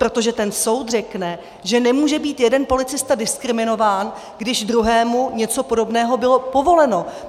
Protože ten soud řekne, že nemůže být jeden policista diskriminován, když druhému něco podobného bylo povoleno.